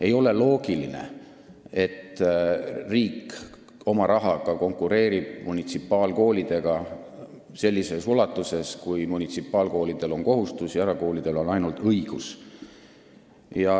Ei ole loogiline, et riik oma rahaga konkureerib munitsipaalkoolidega sellises ulatuses, kui munitsipaalkoolidel on kohustused ja erakoolidel on ainult õigused.